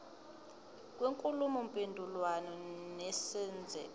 kwenkulumo mpendulwano nesenzeko